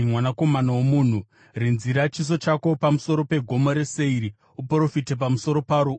“Mwanakomana womunhu, rinzira chiso chako pamusoro peGomo reSeiri; uprofite pamusoro paro,